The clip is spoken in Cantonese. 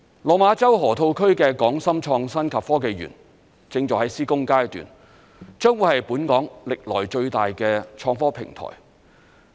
落馬洲河套區的港深創新及科技園正在施工階段，將會是本港歷來最大的創科平台。